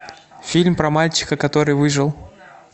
фильм про мальчика который выжил